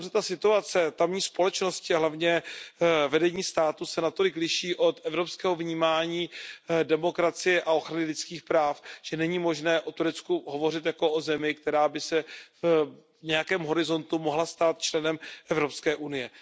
Situace tamní společnosti a hlavně vedení státu se natolik liší od evropského vnímání demokracie a ochrany lidských práv, že není možné o Turecku hovořit jako o zemi, která se by se v nějakém horizontu mohla stát členem Evropské unie.